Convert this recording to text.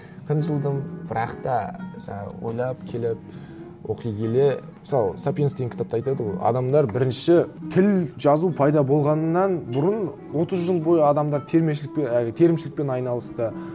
кынжылдым бірақ та жаңағы ойлап келіп оқи келе мысалы сапиенс деген кітапта айтады ғой адамдар бірінші тіл жазу пайда болғаннан бұрын отыз жыл бойы адамдар әй терімшілікпен айналысты